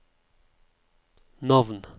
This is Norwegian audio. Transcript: navn